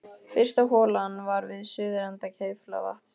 Fyrsta holan var við suðurenda Kleifarvatns.